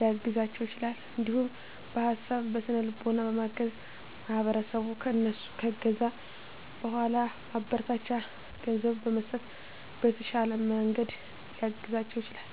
ሊያግዛቸው ይችላል። እንዲሁም በሀሳብ በስነ ልቦና በማገዝ ማህበረሰቡ ከእነሱ ከገዛ በኃላ ማበረታቻ ገንዘብ በመስጠት በተሻለ መንገድ ሊያግዛቸው ይችላል።